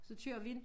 Så kører vi ind